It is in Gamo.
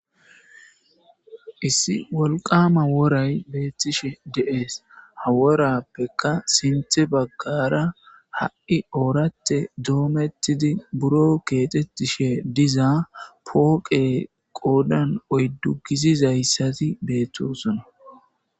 Issi wolqama woray beettishe de'ees haworappeka sinthe baggara ha'i oorate doomettidi buro keexetishe dizaa pooqe qoodan oyddu gizizayssati beettosona.